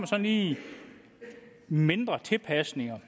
sådan lige mindre tilpasninger